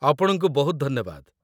ଆପଣଙ୍କୁ ବହୁତ ଧନ୍ୟବାଦ।